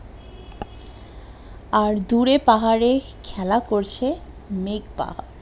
আর দূরে পাহাড়ে খেলা করছে মেঘ